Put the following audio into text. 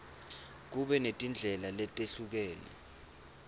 kube netindlela letehlukene